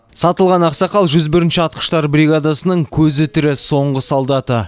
сатылған ақсақал жүз бірінші атқыштар бригадасының көзі тірі соңғы солдаты